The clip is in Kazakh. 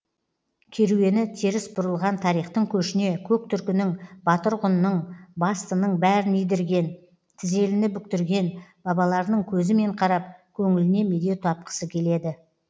керуені теріс бұрылған тарихтың көшіне көк түркінің батыр ғұнның бастының бәрін идірген тізеліні бүктірген бабаларының көзімен қарап көңіліне медеу тапқысы келеді